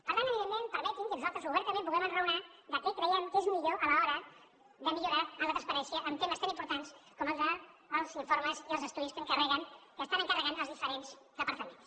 per tant evidentment permetin que nosaltres obertament puguem enraonar de què creiem que és millor a l’hora de millorar en la transparència en temes tan importants com el dels informes i els estudis que encarreguen que estan encarregant els diferents departaments